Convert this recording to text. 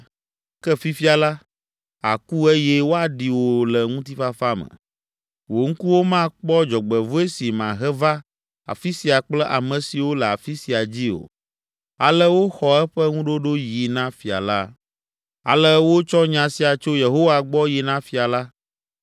Ke fifia la, àku eye woaɖi wò le ŋutifafa me. Wò ŋkuwo makpɔ dzɔgbevɔ̃e si mahe va afi sia kple ame siwo le afi sia dzi o.’ ” Ale woxɔ eƒe ŋuɖoɖo yi na fia la. Ale wotsɔ nya sia tso Yehowa gbɔ yi na fia la.